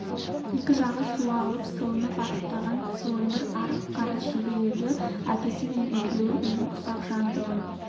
екі жағы суалып сылынып арықтаған сылыңғыр арық қара шеге еді әкесі мен екеуі үйдің ұсақ жандығын